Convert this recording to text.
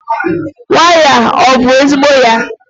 waya a ọ bụ ezigbo ya?